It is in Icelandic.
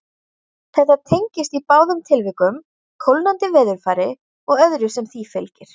Þetta tengist í báðum tilvikum kólnandi veðurfari og öðru sem því fylgir.